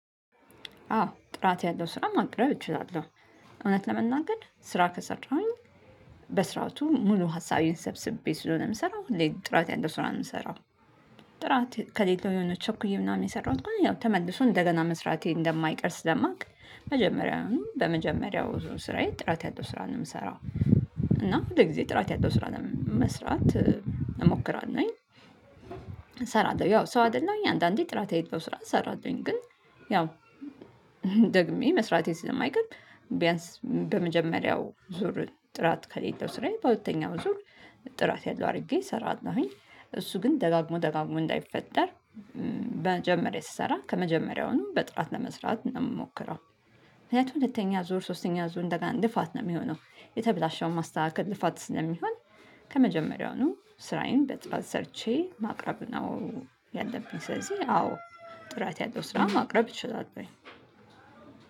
አዎ ጥራት ያለው ስራ ማቅረብ እችላለሁ። እውነት ለመናገር ስራ ከሰራሁኝ በስርዓቱ ሙሉ ሀሳቤን ሰብስቤ ስለሆነ የምሰራው ሁሌም ጥራት ያንተ ስራ የምሰራው። ጥራት ከሌለው የሆነ ቸኩዬ ምናምን የሰራሁት ተመልሶ እንደገና መስራቴ እንደማይቀር ስለማቅ መጀመሪያውን በመጀመሪያው ዙር ስራዬ ጥራት ያጣው ስራ ነው የምሰራው። እና ሁል ጊዜ ጥራት ያለው ስራ ነው መስራት እሞክራለሁኝ። እሰራለሁኝ ያው ሰው አይደለሁኝ አንዳንዴ ጥራት የሌለው ስራ እሰራለሁኝ። ግን ያው ደግሜ መስራቴን ስለማይቀር ቢያንስ በመጀመሪያው ዙር ጥራት ከሌለው ስራዬ በሁለተኛው ዙር። ጥራት ያለው አድርጌ እሰራለሁኝ እሱ ግን ደጋግሞ ደጋግሞ እንዳይፈጠር መጀመሪያ ስሰራ ከመጀመሪያውም በጥራት ለመስራት ነው የምሞክረው። ምክንያቱም ሁለተኛ ዙር ሶስተኛ ዙር እንደገና ልፋት ነው የሚሆነው የተበላሸውን ማስተካከል ልፋት ስለሚሆን። ከመጀመሪያውኑ ስራዬን በጥራት ሰርቼ ማቅረብ ነው። ያለብኝ ስለዚህ አዎ ጥራት ያለው ስራ ማቅረብ እችላለሁኝ።